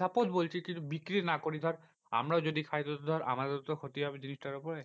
suppose বলছি কিছু বিক্রি না করি ধর আমরাও যদি খাই তো ধর আমারও তো ক্ষতি হবে জিনিসটার উপরে।